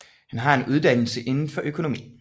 Han har en uddannelse indenfor økonomi